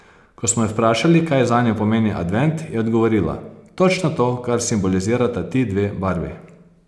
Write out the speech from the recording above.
Ko smo jo vprašali, kaj zanjo pomeni advent, je odgovorila: "Točno to, kar simbolizirata ti dve barvi.